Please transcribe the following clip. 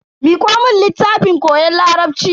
Miko mun littafin koyon larabci.